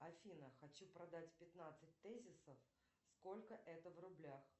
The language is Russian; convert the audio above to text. афина хочу продать пятнадцать тезисов сколько это в рублях